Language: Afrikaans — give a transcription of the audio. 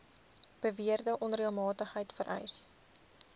beweerde onreëlmatigheid vereis